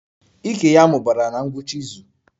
Ike ya mụbara na ngwụcha izu